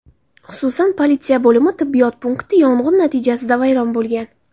xususan politsiya bo‘limi tibbiyot punkti yong‘in natijasida vayron bo‘lgan.